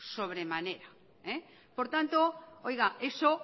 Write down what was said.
sobre manera por tanto oiga eso